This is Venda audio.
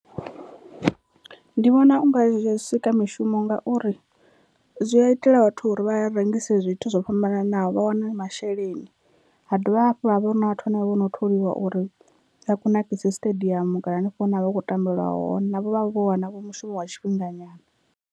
Ndi vhona unga zwi a sika mishumo ngauri zwi a itela vhathu uri vha rengise zwithu zwo fhambananaho vha wane masheleni, ha dovha hafhu ha vhori hu na vhathu vhane vho no tholiwa uri vha kunakise siṱediamu kana hanefho hune ha vha hu khou tambelwa hone navho vha vho wana vho mushumo wa tshifhinga nyana.